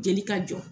Jeli ka jɔ